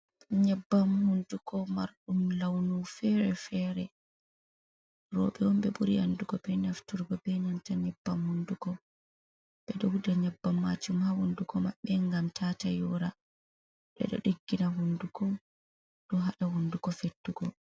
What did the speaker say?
Nyabbam hunduko marɗum launufere-fere, roɓe onɓe ɓuri andugo be nafturgo be nanta nyebbam hunduko ɓe ɗo wuja nyabbam ma jum ha hunduko maɓɓe gam tata yora, ɗeɗo ɗiggina hunduko ɗo haɗa hunduko fettugo.